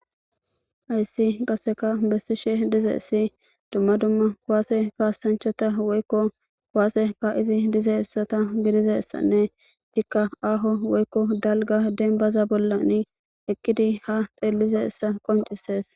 Haysi qasekka besishe dizaysa Dumma dumma kuwase kasachata woyko kuwase ka'ishe dizaysata gididaysanne eikka aho woyko dalga denbaza bollan eqidi ha xelizaysa qoncises